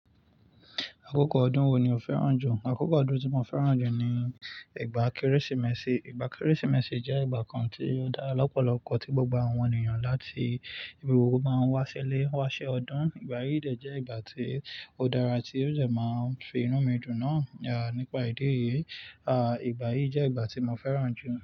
Àkókò ọdún wo ni o fẹ́ràn jù? Àkókò ọdún tí mo fẹ́ràn jù ni ìgbà Kérésìmesì. Ìgbà Kérésìmesì jẹ́ ìgbà kan tí ó dára lọ́pọ̀lọpọ̀ tí gbogbo àwọn ènìyàn láti ibi gbogbo máa ń wá ṣilé, wá ṣe ọdún. Ìgbà yìí dẹ̀ jẹ́ ìgbà tí ó dára tí ó dẹ máa fi inú mi dù náà, à, nípa ìdí èyí, à, ìgbà yìí jẹ́ ìgbà tí mo fẹ́ràn jù.